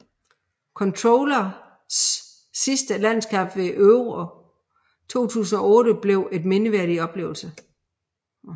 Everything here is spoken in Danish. Kollers sidste landskamp ved Euro 2008 blev en mindeværdig oplevelse